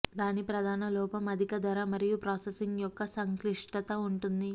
దాని ప్రధాన లోపం అధిక ధర మరియు ప్రాసెసింగ్ యొక్క సంక్లిష్టత ఉంటుంది